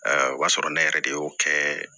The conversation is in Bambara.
o b'a sɔrɔ ne yɛrɛ de y'o kɛ